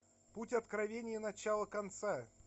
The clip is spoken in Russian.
путь откровения начало конца